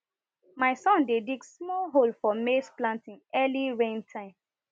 my son dey dig small hole for maize planting early rain time